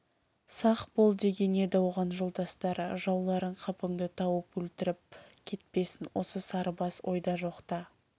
сақ бол деген еді оған жолдастары жауларың қапыңды тауып өлтіріп кетпесін осы сарыбас ойда жоқта